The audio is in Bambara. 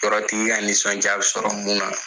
Tɔɔrɔtigiya, nisɔndiya bɛ sɔrɔ mun na.